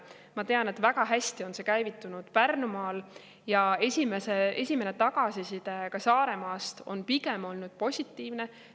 Ma tean, et väga hästi on see käivitunud Pärnumaal ja esimene tagasiside Saaremaalt on ka pigem olnud positiivne.